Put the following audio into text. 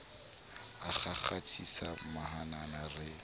a kgakgathisa mahanana e re